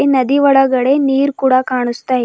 ನದಿ ಒಳಗಡೆ ನೀರ್ ಕೂಡ ಕಾಣಿಸ್ತಾ--